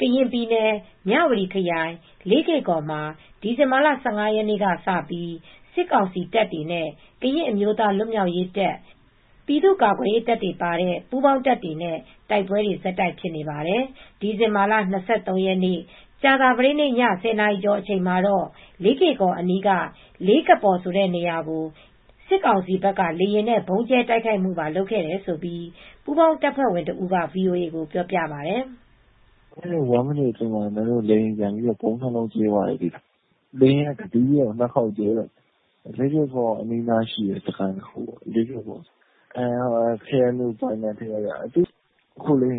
ကရင်ပြည်နယ် မြဝတီခရိုင် လေးကေ့ကော်မှာ ဒီဇင်ဘာလ ၁၅ ရက်နေ့ကစပြီး စစ်ကောင်စီတပ်တွေ့ကတဖက်၊KNLA ကရင်အမျိုးသား လွတ်မြောက်ရေးတပ် နဲ့ပြည်သူကာကွယ်ရေးတပ် PDF တွေပါတဲ့ ပူးပေါင်းတပ်တွေကတဖက်တိုက်ပွဲတွေ ဆက်တိုက်ဖြစ်နေပါတယ်။ ဒီဇင်ဘာ ၂၃ ကြာသပတေးနေ့ ည ၁၀နာရီကျော်အချိန်မှာတော့ လေးကေ့ကော်အနီးက လေးကပေါ် ဆိုတဲ့နေရာကို စစ်ကောင်စီဘက် ကလေယာဉ်နဲ့ဗုံးကြဲတိုက်ခိုက်မူ့ပါလုပ်ခဲ့တယ် ပူးပေါင်းတပ်ဖွဲ့ဝင်တဦးက VOA ကို ပြောပြပါတယ်။ "အခုလေးတင် တမိနစ်အတွင်းမှာ လေယာဉ်ပျံပြီးဗုံး ၂လုံး ကြဲသွားပါတယ်။ လေယာဉ်ကတစီးထဲ ၂ခေါက်ကြဲတာ။ လေးကေ့ကော်အနီးနားရှိတဲ့စခန်းတခုပေါ့။ လေးကပေါ်ဆိုတဲ့နေရာ ကေအန်ယူပိုင်နက်ထဲက။ ကတုတ်ကျ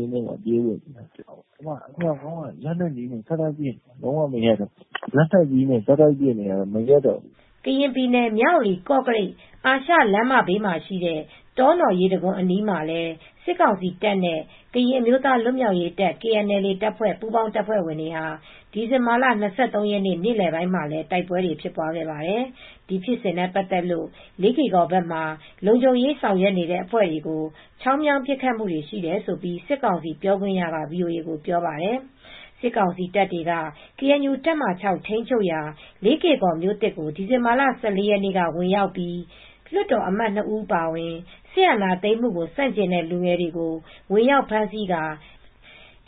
င်းထဲမှာပြေးဝတ်နေ ရတယ်။အမြှောက်ကုန်းကလည်းလက်နက်ကြီးနဲ့ဆက်တိုက်ပစ်နေတာမရပ်တော့ဘူး" ကရင်ပြည်နယ် မြဝတီ-ကော့ကရိတ် အာရှလမ်းမဘေးမှာရှိတဲ့တောနော်ရေတံခွန်အနီ်းမှာ စစ်ကောင်စီတပ်တွေနဲ့ ကရင်အမျိုးသားလွတ်မြောက်ရေးတပ် KNLA တပ်ဖွဲ့ ပူးပေါင်းတပ်ဖွဲ့တွေ ဒီဇင်ဘာလ၂၃ ရက်နေလည်ပိုင်းမှာလည်း တိုက်ပွဲဖြစ်ပွားခဲ့ပါတယ်။ ဒီဖြစ်စဉ်နဲ့ပတ်သက်လို့ လေးကေ့ကော်ဘက်မှာ လုံခြုံရေးဆောင်ရွက်နေတဲ့ အဖွဲ့တွေကို ချောင်းမြောင်းပစ်ခတ်မှုတွေရှိတယ်လို့ စစ်ကောင်စီပြောခွင့်ရက ဗွီအိုအေကိုပြောပါတယ်။ စစ်ကောင်စီတပ်တွေက ကေအန်ယူတပ်မဟာ ထိမ်းချုပ်ရာ လေးကေ့ကော်မြိုသစ်ကို ဒီဇင်ဘာလ ၁၄ရက်နေ့က ဝင်ရောက်ပြီး လွတ်တော်အမတ် ၂ဦးအပါအဝင် စစ်အာဏာသိမ်းမူ့ကိုဆန့်ကျင်တဲ့လူငယ်တွေကို ဝင်ရောက်ဖမ်းဆီးကာ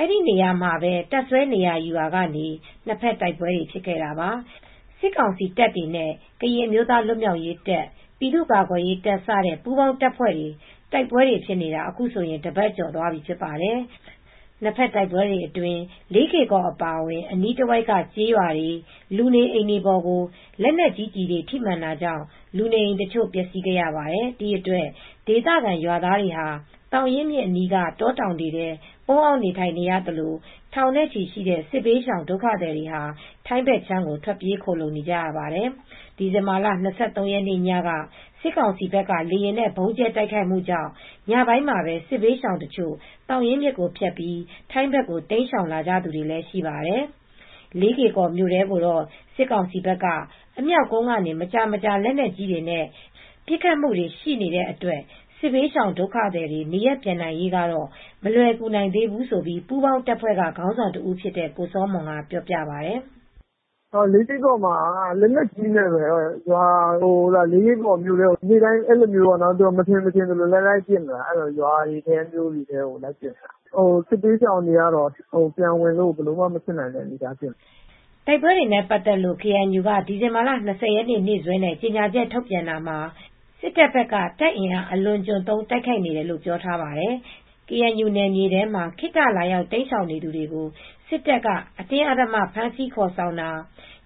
အဲဒီနေရာမှာပဲ တပ်စွဲနေရာယူရာကနေနှစ်ဖက်တိုက်ပွဲတွေ ဖြစ်ခဲ့တာပါ ။ စစ်ကောင်စီတပ်တွေနဲ့ကရင်အမျိုးသားလွတ်မြောက်ရေးတပ် ပြည်သူကာကွယ်ရေးတပ်စတဲ့ပူးပေါင်းတပ်ဖွဲ့တွေတိုက်ပွဲတွေဖြစ်နေတာ အခုဆိုရင် တပတ်ကျော်သွားပြီဖြစ်ပါတယ် ။ နှစ်ဖက်တိုက်ပွဲတွေအတွင်း လေးကေ့ကော်အပါအဝင်အနီးတဝိုက်က ကျေးရွာတွေ လူနေအိမ်တွေပေါ်ကို လက်နက်ကြီး ကျည်တွေထိမှန် တာကြောင့် လူနေအိမ်တချို့ပျက်စီးခဲ့ရပါတယ်ဒီအတွက် ဒေသခံရွာသားတွေဟာ သောင်ရင်းမြစ်အနီးက တောတောင်တွေထဲ ပုန်းအောင်းနေထိုင်နေရသလို့ ထောင်နဲ့ချီရှိတဲ့စစ်ဘေးရှောင်ဒုက္ခသည်တွေဟာ ထိုင်းဘက်ခြမ်းကိုထွက်ပြေးခိုလှုံနေရပါတယ်။ ဒီဇင်ဘာလ၂၃ရက်နေ့ညက စစ်ကောင်စီဘက်က လေယာဉ်နဲ့ဗုံးကြဲတိုက်ခိုက်မူကြောင့် ညပိုင်းမှာပဲစစ်ဘေးရှောင်တချို့သောင်ရင်းမြစ် ကိုဖြတ်ပြီးထိုင်းဘက်ကို တိမ်းရှောင်လာကြတာတွေလည်းရှိပါတယ်။ လေးကေ့ကော်မြို့ထဲကိုတော့ စစ်ကောင်စီဘက်က အမြှောက်ကုန်းကနေ မကြာမကြာ လက်နက်ကြီးနဲ့ ပစ်ခတ်မူတွေ ရှိနေတဲ့အတွက် စစ်ဘေးရှောင်ဒုက္ခသည်တွေ နေရပ်ပြန်နိုင်ရေးကတော့ မလွယ်ကူနိုင်သေးဘူးလို့ ပူးပေါင်းတပ်ဖွဲ့ကခေါင်းဆောင်တဦးဖြစ်တဲ့ ကိုစောမွန်က ဆိုပါတယ်။ " လေးကေ့ကော်မှာက လက်နက်ကြီးနဲ့ပဲ ရွာထဲတွေ မြို့ထဲတွေကို သူတို့က မထင်ရင်မထင်သလိုလှမ်းပစ်နေတာ စစ်ဘေးရှောင်တွေကတော့ပြန်ဝင်ဖို့လုံးဝမဖြစ်နိုင်သေးတဲ့အနေအထားဖြစ်နေတယ်" တိုက်ပွဲတွေနဲ့ပါတ်သက်လို့ KNU ကဒီဇင်ဘာ ၂၀ ရက် နေ့စွဲနဲ့ ကြေညာချက်ထုတ်ပြန်တာမှာ စစ်တပ်ဘက်က တပ်အင်အား အလွန်အကျွံသုံး တိုက်ခိုက်နေတယ်လို့ ပြောထားပါတယ်။ KNU နယ်မြေထဲမှာ ခေတ္တလာရောက် တိမ်းရှောင်နေသူတွေကို စစ်တပ်က အတင်းအဓ္ဓမ ဖမ်းဆီးခေါ်ဆောင်တာ၊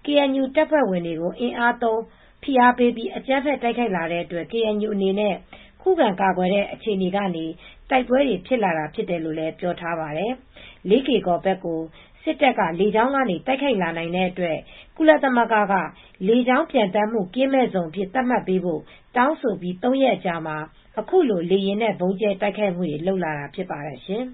KNU တပ်ဖွဲ့ဝင်တွေကို အင်အားသုံး ဖိအားပေးပြီး အကြမ်းဖက် တိုက်ခိုက်လာတဲ့အတွက် KNU အနေနဲ့ ခုခံကာကွယ်တဲ့အခြေအနေကနေ တိုက်ပွဲတွေ ဖြစ်လာတာဖြစ်တယ်လို့ ပြောထားပါတယ်။ လေးကေ့ကော်ဘက်ကို စစ်တပ်က လေကြောင်းကနေ တိုက်ခိုက်လာနိုင်တဲ့အတွက်လည်း ကုလသမဂ္ဂက လေကြောင်း ပျံသန်းမှုကင်းမဲ့ဇုံ အဖြစ်သတ်မှတ်ပေးဖို့ တောင်းဆိုပြီး ၃ရက်အကြာမှာအခုလို လေယာဉ်နဲ့ဗုံးကြဲတိုက်ခိုက်မူတွေလုပ်လာတာဖြစ်ပါတယ်ရှင်။